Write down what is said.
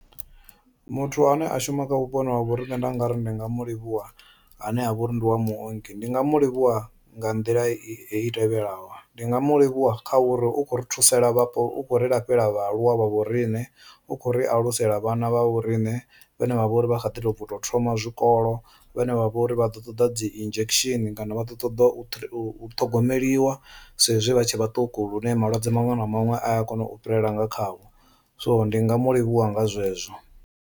Muthu ane a shuma kha vhuponi ha vho riṋe nda nga ri ndi nga mu livhuwa ane a vhori ndi wa muongi ndi nga mu livhuwa nga nḓila hei i tevhelaho, ndi nga mu livhuwa kha uri u kho ri thuseka vhapo u kho ri lafhela vhaaluwa vha vho riṋe, u kho ri alusela vhana vha vho riṋe vhane vha vha uri vha kha di to bva u to thoma zwikolo, vhane vha vhori vha ḓo ṱoḓa dzi injection vha ḓo ṱoḓa u ṱhogomeliwa sa ezwi vha tshe vhaṱuku lune malwadze maṅwe na maṅwe a ya kona u fhirela nga khavho so ndi nga mu livhuwa nga zwezwo.